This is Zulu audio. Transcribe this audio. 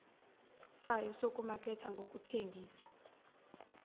sayo sokumaketha nokuthengisa